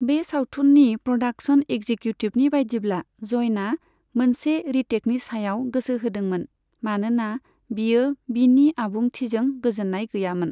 बे सावथुननि प्रदाक्सन एक्जिकिउटिभनि बायदिब्ला, जयना मोनसे रिटेकनि सायाव गोसो होदोंमोन, मानोना बियो बिनि आबुंथिजों गोजोन्नाय गैयामोन।